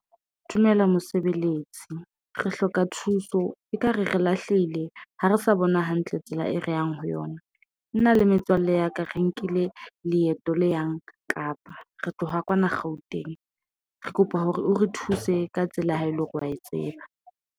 Dumela mosebeletsi re hloka thuso ekare re lahlehile ha re sa bona hantle tsela e re yang ho yona, nna le metswalle ya ka, re nkile leeto le yang Kapa re tloha kwana Gauteng, re kopa hore o re thuse ka tsela ya ha ele hore wa e tseba.